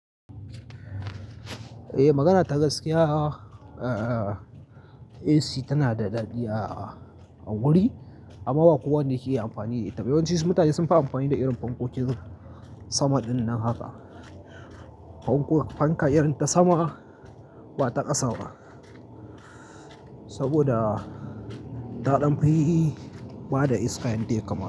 Ei, magana ta gaskiya, eh, AC tana da daɗi a wuri amma ba kowa ne ke iya amfani da ita. Yawanci su mutane sun fi amfani da irin fankokin sama ɗinnan haka. Fanka irin ta sama ba ta ƙasa ba, saboda daɗamfa yi ba da iska han take kama.